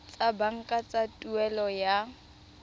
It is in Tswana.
tsa banka tsa tuelo ya